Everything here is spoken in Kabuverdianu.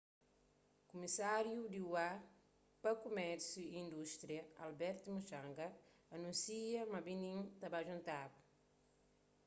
kumisáriu di ua pa kumérsiu y indústria albert muchanga anúnsia ma benim ta ba djuntaba